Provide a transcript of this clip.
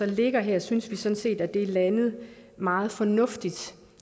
ligger her synes vi sådan set at det er landet meget fornuftigt